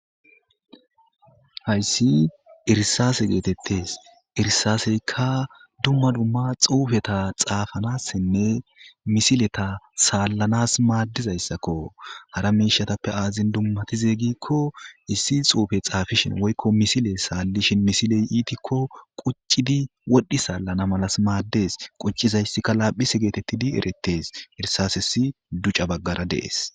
Haysi irisase geetetesi, irisaseyka dumma dumma xuufeta xaafanasinne misileta salanasi maadizaysako , hara mishatappe azin dumatize giikon xuufe xaafishn woyko misile salishn misiley iitikon qucidi wodhi salanasi maadesi.